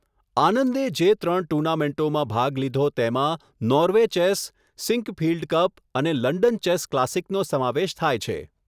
આનંદે જે ત્રણ ટુર્નામેન્ટોમાં ભાગ લીધો તેમાં નોર્વે ચેસ, સિંકફિલ્ડ કપ અને લંડન ચેસ ક્લાસિકનો સમાવેશ થાય છે.